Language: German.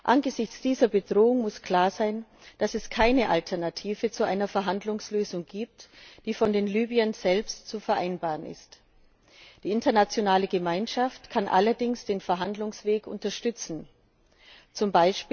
Angesichts dieser Bedrohung muss klar sein, dass es keine Alternative zu einer Verhandlungslösung gibt, die von den Libyern selbst zu vereinbaren ist. Die internationale Gemeinschaft kann allerdings den Verhandlungsweg unterstützen,